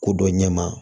Ko dɔ ɲɛma